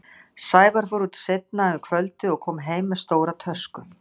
Sævar fór út seinna um kvöldið og kom heim með stóra tösku.